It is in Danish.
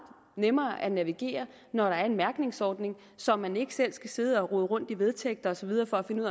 nemmere at navigere når der er en mærkningsordning så man ikke selv skal sidde og rode rundt i vedtægter og så videre for at finde